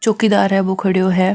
चौकीदार है वो खडयो है।